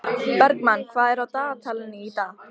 Bergmann, hvað er á dagatalinu í dag?